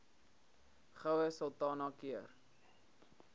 goue sultana keur